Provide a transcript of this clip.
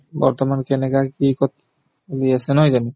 বৰ্তমান কেনেকা কি কত চলি আছে নহয় জানো